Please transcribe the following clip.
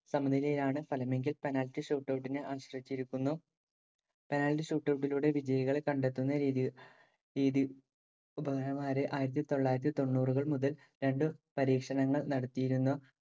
സമനിലയാണു ഫലമെങ്കിൽ penalty shootout നെ ആശ്രയിച്ചിരിക്കുന്നു. penalty shootout ഇലൂടെ വിജയികളെ കണ്ടെത്തുന്ന രീതി രീതി ആയിരത്തി തൊള്ളായിരത്തി തൊണ്ണൂറുകള്‍ മുതല്‍ രണ്ടു പരീക്ഷണങ്ങള്‍ നടത്തിയിരുന്നു,